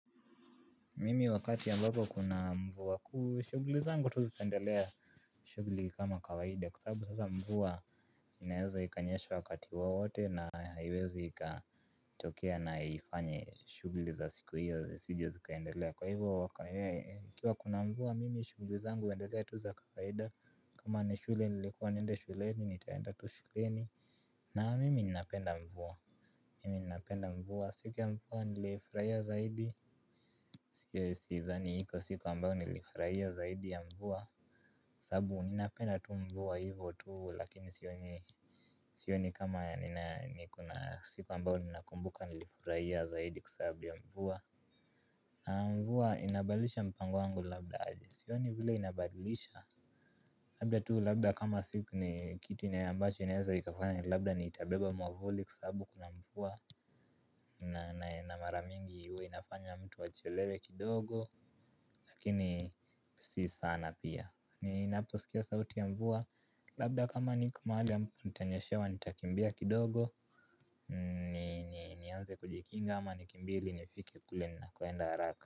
Mimi wakati ambapo kuna mvua kuu shugli zangu tu zitaendelea. Shugli kama kawaida kwa sababu sasa mvua inaeweza ikanyesha wakati wowote na haiwezi ikatokea na ifanye shugli za siku hiyo zisije zikaendelea kwa hivyo kwa yeye ikiwa kuna mvua mimi shugli zangu huendelea tu za kawaida. Kuma ni shule nilikuwa niende shuleni nitaenda tu shuleni. Na mimi ninapenda mvua. Mimi ninapenda mvua siku ya mvua nilifurahia zaidi. Siyo sidhani iko siku ambayo nilifurahia zaidi ya mvua. Sababu ninapenda tu mvua hivyo tu lakini sioni. Sioni kama niko na siku ambayo ninakumbuka nilifurahia zaidi kwa sababu ya mvua. Mvua inabadilisha mpango wangu labda sioni vile inabadilisha. Labda tu labda kama siku ni kitu inayo ambacho inaeza ikafanya labda niitabeba mwavuli kwa sababu kuna mvua. Na mara mingi huwa inafanya mtu achelewe kidogo. Lakini si sana pia ninaposikia sauti ya mvua. Labda kama niko mahali ambapo nitanyeshewa nitakimbia kidogo. Ni nianze kujikinga ama nikimbie ili nifike kule nakoenda haraka.